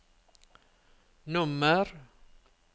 nummer